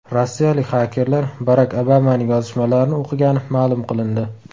Rossiyalik xakerlar Barak Obamaning yozishmalarini o‘qigani ma’lum qilindi.